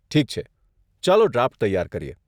ઠીક છે, ચાલો ડ્રાફ્ટ તૈયાર કરીએ.